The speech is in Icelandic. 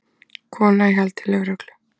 Kona í haldi lögreglu